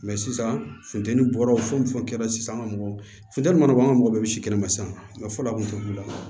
sisan funtɛni bɔra fo ni fɛnw kɛla sisan an ka mɔgɔ funteni mana bɔ an ka mɔgɔ bɛ misi kɛnɛ ma sisan fɔlɔ a kun tɛ wuli